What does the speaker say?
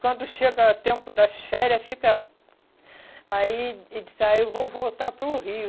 Quando chega o tempo das férias, fica... Aí ah eu vou voltar para o Rio.